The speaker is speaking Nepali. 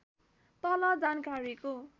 तल जानकारीको